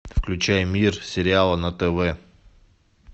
включай мир сериала на тв